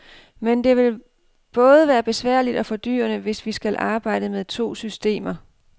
Men det vil både være besværligt og fordyrende, hvis vi skal arbejde med to systemer.